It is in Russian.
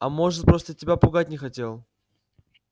а может просто тебя пугать не хотел